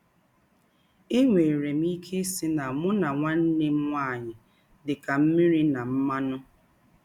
“ Enwere m ike ịsị na mụ na nwanne m nwaanyị dị ka mmịrị na mmanụ.